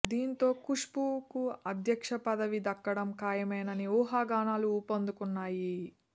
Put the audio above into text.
దీనితో ఖుష్బూ కు అధ్యక్ష పదవి దక్కడం ఖాయమనే ఊహాగానాలు ఊపందుకున్నాయి